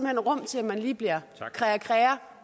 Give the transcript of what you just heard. hen rum til at man lige bliver krea krea